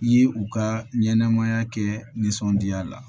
I ye u ka ɲɛnɛmaya kɛ nisɔndiya la